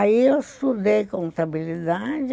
Aí eu estudei contabilidade.